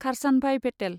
Kharsanbhai Patel